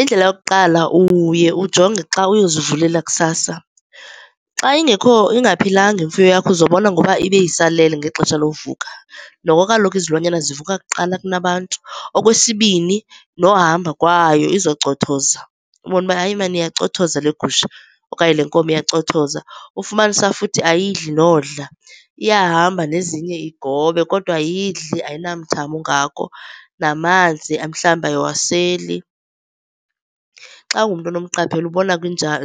Indlela yokuqala uye ujonge xa uyozivulela kusasa. Xa ingaphilanga imfuyo yakho uzobona ngoba ibe isalele ngexesha lokuvuka. Noko kaloku izilwanyana zivuka kuqala kunabantu. Okwesibini, nohamba kwayo izawucothoza ubone ukuba hayi mani iyacothoza le gusha okanye le nkomo iyacothoza. Ufumanise futhi ayidli nodla. Iyahamba nezinye igobe kodwa ayidli ayinamthamo ungako namanzi mhlawumbi ayiwaseli. Xa ungumntu onomqaphela ubona